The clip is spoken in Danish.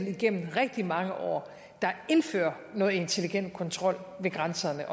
igennem rigtig mange år der indfører noget intelligent kontrol ved grænserne